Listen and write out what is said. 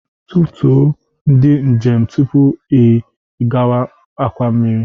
Tutuo ndị njem tupu ị gawa akwa mmiri